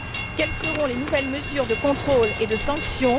Quelles seront les nouvelles mesures de contrôle et de sanctions?